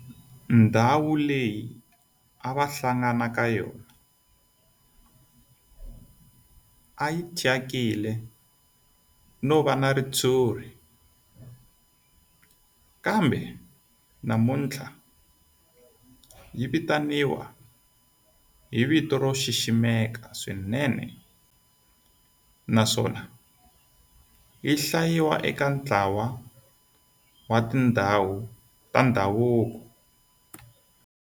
Ndhawu leyi a va hlangana ka yona a yi thyakile no va na ritshuri kambe namuntlha yi vitaniwa hi vito ro xiximeka swinene naswona yi hlayiwa eka ntlawa wa tindhawu ta ndhavuko.